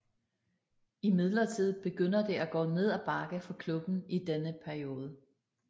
Imidlertid begynder det at gå ned ad bakke for klubben i denne periode